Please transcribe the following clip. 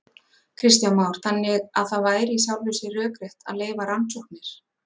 Kristján Már: Þannig að það væri í sjálfu sér rökrétt að leyfa rannsóknir?